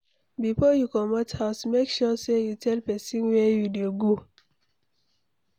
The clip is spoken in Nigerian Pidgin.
Before you commot house, make sure say you tell pesin where u dey go